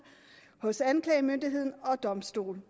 hos anklagemyndigheden og domstolene